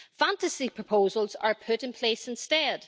Fantasy proposals are put in place instead.